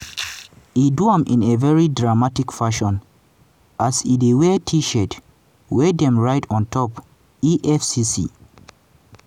e do am in a very dramatic fashion as e wear t-shirt wey dem write on top 'efcc